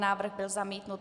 Návrh byl zamítnut.